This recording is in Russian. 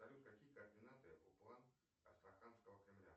салют какие координаты у план астраханского кремля